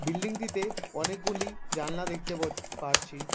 Building -টিতে অনেকগুলি জানালা দেখতে ব পারছি।